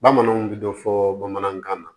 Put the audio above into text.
Bamananw bɛ dɔ fɔ bamanankan na